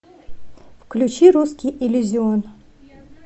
включи русский иллюзион